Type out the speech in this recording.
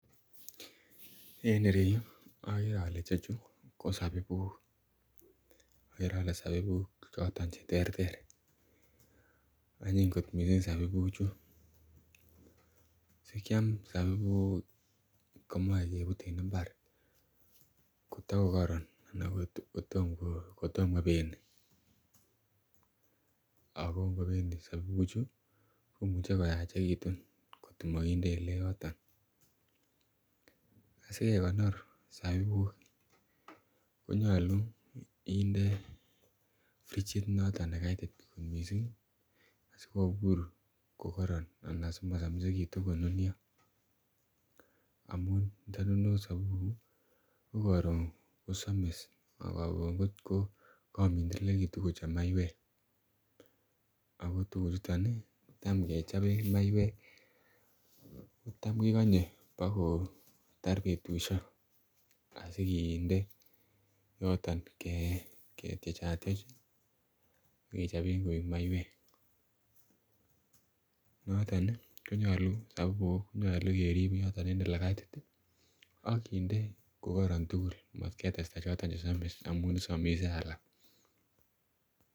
en ireyuu ogere ole ichechu ko sobibuuk, kegere sobibuuk chon cheterter onyiny kot mising sobibuuk chu, sikyaam sobibuuk komoe kebut en imbaar kotagokoron anna kotom kobeni ago ngobeni sobibuuk chu komuche koyachegitun kotkomoginde oleyooton, sigekonor sobibuuk konyolu frigit noton negaitit kot mising sigobuur kogoroon anan simosomigitun konunyoo omuun ndonundos sobibuuk ko karoon kosomis ak koroon kogamindelegitun kochom maiyweek ago tuguk chuto iih kotom kechoben maiyweek kotom kegonyee bagotar betushek osiginde yoton ketyechatyech ak kechoben koek maiyweek noton iih konyole keriib yoton en olegaitit ak kinde kogoron tugul maat ketesta choton che somis omuun isomise alaak.